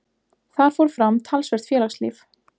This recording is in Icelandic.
Þar fór fram talsvert félagslíf.